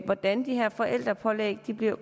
hvordan de her forældrepålæg bliver